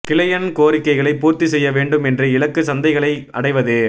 கிளையன் கோரிக்கைகளை பூர்த்தி செய்ய வேண்டும் என்று இலக்கு சந்தைகளை அடைவது